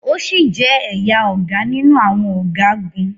O si jẹ ẹya Oga ninu awọn ọgagun